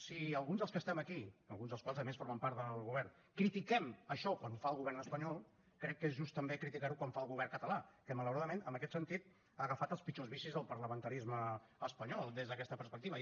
si alguns dels que estem aquí alguns dels quals a més formen part del govern critiquem això quan ho fa el govern espanyol crec que és just també criticar ho quan ho fa el govern català que malauradament en aquest sentit ha agafat els pitjors vicis del parlamentarisme espanyol des d’aquesta perspectiva